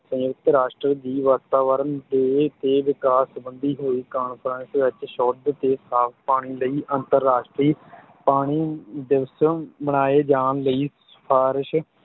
ਸੰਯੁਕਤ ਰਾਸ਼ਟਰ ਦੀ ਵਾਤਾਵਰਣ day ਤੇ ਵਿਕਾਸ ਸੰਬੰਧੀ ਹੋਈ conference ਵਿੱਚ ਸ਼ੁੱਧ ਤੇ ਸਾਫ ਪਾਣੀ ਲਈ ਅੰਤਰਰਾਸ਼ਟਰੀ ਪਾਣੀ ਦਿਵਸ ਮਨਾਏ ਜਾਣ ਲਈ ਸਿਫਾਰਸ਼